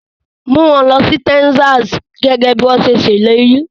Mú wọn lọ sí Texas gẹ́gẹ́ bí wọ́n ṣe ṣèlérí.